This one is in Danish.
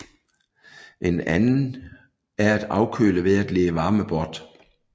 En anden er at afkøle ved at lede varme bort